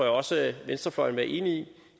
også venstrefløjen vil være enig i